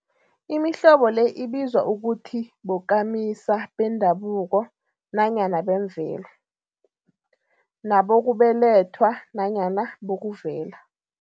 Imihlobo le ibizwa ukuthi bokamisa bendabuko nanyana bemvelo, nabokubelethwa nanyana bokuvela.